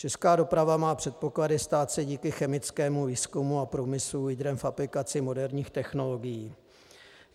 Česká doprava má předpoklady stát se díky chemickému výzkumu a průmyslu lídrem v aplikaci moderních technologií.